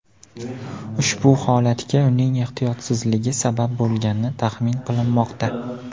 Ushbu holatga uning ehtiyotsizligi sabab bo‘lgani taxmin qilinmoqda.